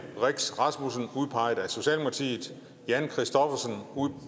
rix rasmussen jan kristoffersen